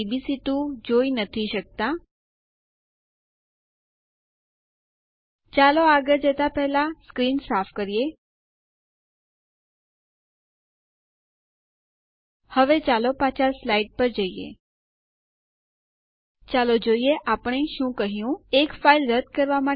અહીં ટાઈપ કરો sudo space userdel space r space duck